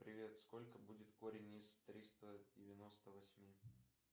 привет сколько будет корень из триста девяносто восьми